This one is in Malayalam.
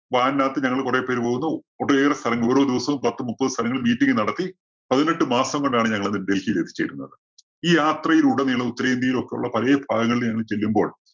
van നകത്ത് ഞങ്ങള് കുറെ പേര് പോകുന്നു. ഒട്ടേറെ സ്ഥലങ്ങൾ ഓരോ ദിവസവും പത്തും മുപ്പതും സ്ഥലങ്ങളില്‍ meeting നടത്തി പതിനെട്ട് മാസം കൊണ്ടാണ് ഞങ്ങന്ന് ഡൽഹിയിൽ എത്തിച്ചേരുന്നത്. ഈ യാത്രയിലുടനീളം ഉത്തരേന്ത്യയിൽ ഒക്കെ ഉള്ള പഴയ സ്ഥലങ്ങളിൽ ഞങ്ങള് ചെല്ലുമ്പോൾ